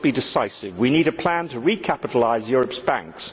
it must be decisive. We need a plan to recapitalise Europe's banks.